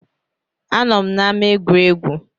A nọ m n’ama egwuregwu